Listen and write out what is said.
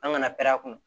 An kana pɛrɛn a kun